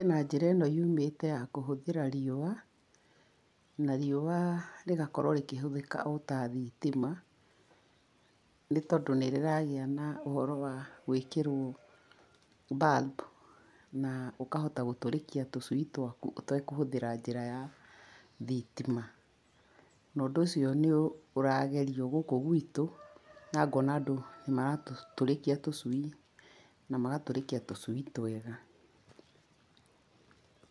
Kwĩna njĩra ĩno yumĩte ya kũhũthĩra riũa, na riũa rĩgakorwo rĩkĩhũthĩka o ta thitima nĩ tondũ nĩ rĩragĩa na ũhoro wa gũĩkĩriwo bulb, na ũkahota gũtũrĩkia tũcui twaku ũtekũhũthĩra njĩra ya thitima. Na ũndũ ũcio nĩ ũragerio gũkũ gwitũ na ngoona andũ nĩ maratũrĩkia tũcui na magatũrĩkia tũcui twega.